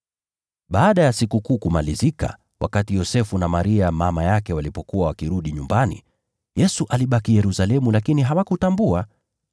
Baada ya Sikukuu kumalizika, wakati Yosefu na Maria mama yake walipokuwa wakirudi nyumbani, Yesu alibaki Yerusalemu lakini hawakutambua.